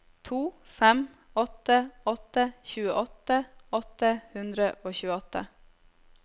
to fem åtte åtte tjueåtte åtte hundre og tjueåtte